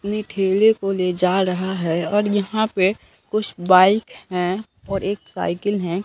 अपने ठेले को ले जा रहा है और यहां पे कुछ बाइक है और एक साइकिल है।